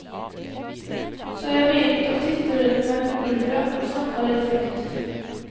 Så jeg begynte å titte rundt meg på gulvet og snakka litt høyt.